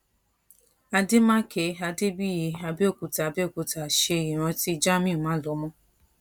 adémàké adébìyí abẹ́òkúta abẹ́òkúta ṣe ìrántí jámíù málọmọ́